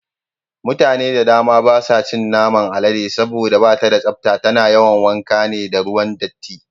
Mutane da dama basu cin naman alade saboda bata da tsafta, tana yawan wanka ne da ruwan datti.